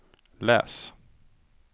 läs